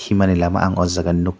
himani lama ang o jaga nug.